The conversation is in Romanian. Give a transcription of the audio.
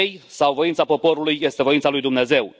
sau voința poporului este voința lui Dumnezeu.